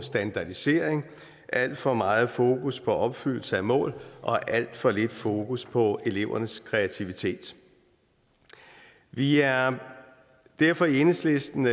standardisering alt for meget fokus på opfyldelse af mål og alt for lidt fokus på elevernes kreativitet vi er derfor i enhedslisten